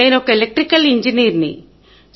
నేను ఒక ఎలక్ట్రికల్ ఇంజనీర్ని